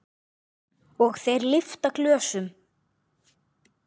Og þeir lyfta glösum.